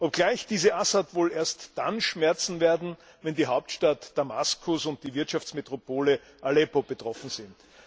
Obgleich diese Assad wohl erst dann schmerzen werden, wenn die Hauptstadt Damaskus und die Wirtschaftsmetropole Aleppo betroffen sind.